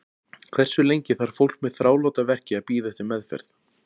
Hversu lengi þarf fólk með þráláta verki að bíða eftir meðferð?